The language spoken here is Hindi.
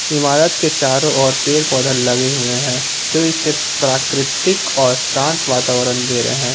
ईमारत के चारों ओर पेड़ पौधे लगे हुए है जो इसे प्राकृतिक और शान्त वातावरण दे रहे हैं।